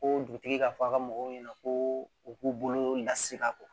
Ko dugutigi k'a fɔ a ka mɔgɔw ɲɛna ko u k'u bolo lase a kɔ